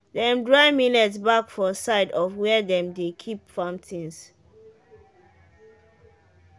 dem dry millet back for side of where dem de keep farm things